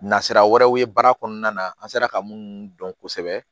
Nasira wɛrɛw ye baara kɔnɔna na an sera ka munnu dɔn kosɛbɛ